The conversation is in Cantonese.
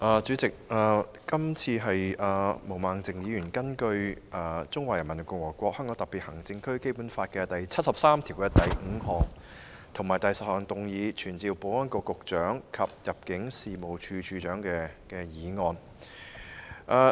主席，毛孟靜議員根據《中華人民共和國香港特別行政區基本法》第七十三條第五項及第十項動議議案，旨在傳召保安局局長及入境事務處處長。